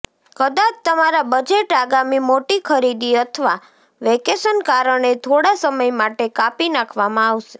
કદાચ તમારા બજેટ આગામી મોટી ખરીદી અથવા વેકેશન કારણે થોડા સમય માટે કાપી નાખવામાં આવશે